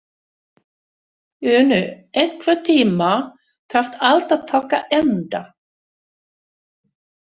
Uni, einhvern tímann þarf allt að taka enda.